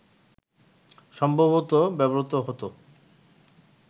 সম্ভবত ব্যবহৃত হত